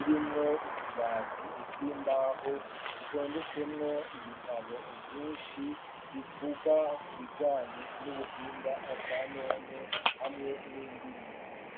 irimwo utubati tw'imbaho dutondetsemwo ibitabo vyishi bivuga ku bijanye n'ubuhinga bwanone hamwe n'indimi.